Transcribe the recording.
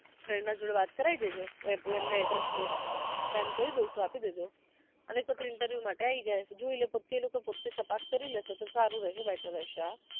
friend ના જોડે વાત કરાવી દેજો એમને address send કરી દવ છુ આપી દેજો અને કેજો પછી interview માટે આવી જાય જોઈ લે પોતે ઈ લોકો પોતે તપાસ કરી લેશે તો સારું રહેશે better રહેશે